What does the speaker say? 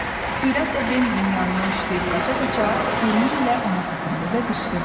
Sürətlə Bimbinin yanından yüyürüb qaça-qaça burnu ilə ona toxundu və qışqırdı: